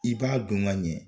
I b'a don ŋ'a ɲɛ